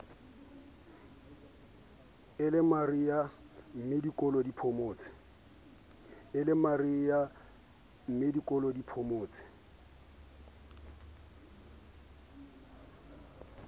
e lemariha mmedikolo di phomotse